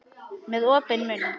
Með opinn munn.